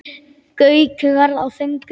Gaukur var á þönum.